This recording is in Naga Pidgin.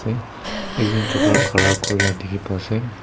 e ekjon chokra khara kuri lah dikhi pa ase.